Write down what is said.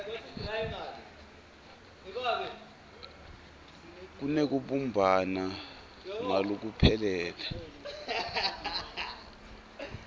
kunekubumbana ngalokuphelele